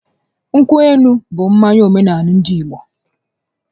Nkwụ elu bụ mmanya omenaala ndị Igbo